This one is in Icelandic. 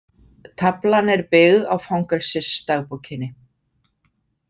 Taflan er byggð á fangelsisdagbókinni.